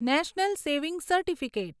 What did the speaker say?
national saving certificate